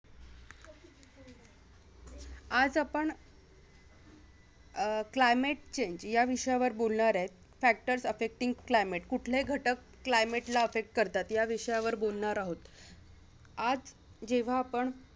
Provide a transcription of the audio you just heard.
आज आपण अह climate change या विषयावर बोलणार त factors affecting climate कुठले घटक climate ला affect करतात या विषयावर बोलणार आहोत आज जेव्हा आपण